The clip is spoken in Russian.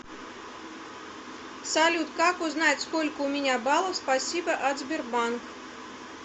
салют как узнать сколько у меня баллов спасибо от сбербанк